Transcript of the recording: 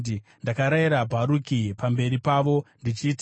“Ndakarayira Bharuki pamberi pavo, ndichiti,